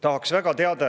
Tahaks väga teada.